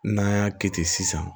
N'an y'a kɛ ten sisan